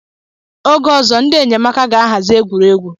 Oge ọzọ, ndị enyemaka ga-ahazi egwuregwu.